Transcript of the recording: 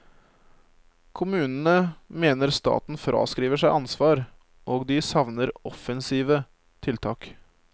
Kommunene mener staten fraskriver seg ansvar, og de savner offensive tiltak.